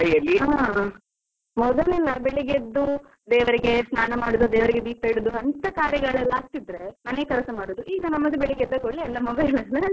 ಹಾ, ಮೊದಲೆಲ್ಲ ಬೆಳ್ಳಿಗೆ ಎದ್ದು ದೇವರಿಗೆ ಸ್ನಾನ ಮಾಡುದು ದೇವರಿಗೆ ದೀಪ ಇಡುದು ಅಂತ ಕಾರ್ಯಗಳೆಲ್ಲ ಆಗತಿದ್ರೆ, ಮನೆ ಕೆಲಸ ಮಾಡುದು ಈಗ ನಮ್ಮದು ಬೆಳ್ಳಿಗೆ ಎದ್ದ ಕೂಡ್ಲೆ ಎಲ್ಲಾ mobile ಅಲ್ಲೇ ಆಗ್ತದೆ.